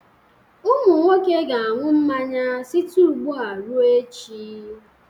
Ụmụ nwoke ga-aṅụ mmanya site ugbu a ruo echi